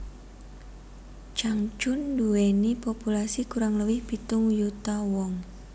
Changchun nduwèni populasi kurang luwih pitung yuta wong